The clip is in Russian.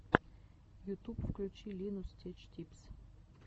ютуб включи линус теч типс